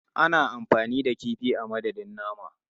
Ana amfani da kifi a madadin nama.